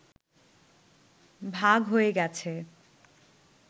ভাগ হয়ে গেছে